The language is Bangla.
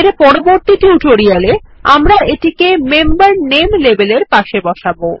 পরবর্তী টিউটোরিয়ালে আমরা এটিকে মেম্বার নামে লেবেল এর পাশে বসাবো